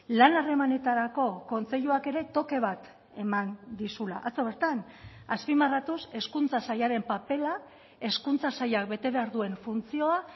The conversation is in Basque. lan harremanetarako kontseiluak ere toke bat eman dizula atzo bertan azpimarratuz hezkuntza sailaren papera hezkuntza sailak bete behar duen funtzioa